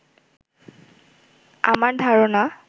আমার ধারণা